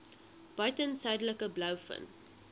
buiten suidelike blouvin